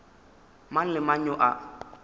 mang le mang yo a